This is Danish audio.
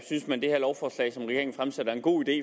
en god idé